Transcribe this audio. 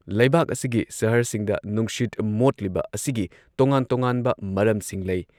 ꯂꯩꯕꯥꯛ ꯑꯁꯤꯒꯤ ꯁꯍꯔꯁꯤꯡꯗ ꯅꯨꯡꯁꯤꯠ ꯃꯣꯠꯂꯤꯕ ꯑꯁꯤꯒꯤ ꯇꯣꯉꯥꯟ ꯇꯣꯉꯥꯟꯕ ꯃꯔꯝꯁꯤꯡ ꯂꯩ ꯫